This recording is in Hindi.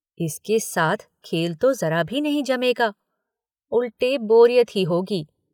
इसके साथ खेल तो ज़रा भी नहीं जमेगा। उल्टे बोरियत ही होगी